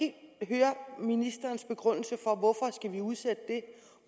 og ministerens begrundelse for